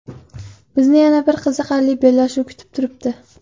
Bizni yana bir qiziqarli bellashuv kutib turibdi.